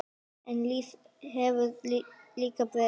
En lífið hefur lítið breyst.